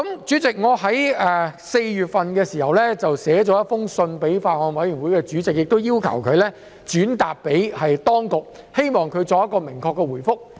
此外，我亦曾在4月致函法案委員會主席，請他向當局轉達這項關注，並要求明確的回覆。